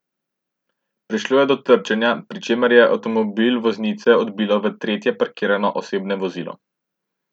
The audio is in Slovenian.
Prišlo je do trčenja, pri čemer je avtomobil voznice odbilo v tretje parkirano osebno vozilo.